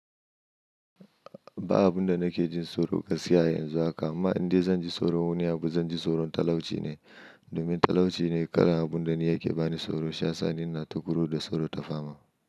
Ba abun da nake jin tsoro gaskiya yanzu haka amma inda zan ji tsoro wani abu zan ji tsoron talauci ne, domin talauci ne karin abun da yake bani tsoro. Sha sani ina ta kuro da tsoro ta fama.